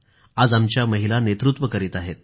आज आमच्या महिला नेतृत्व करीत आहेत